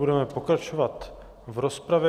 Budeme pokračovat v rozpravě.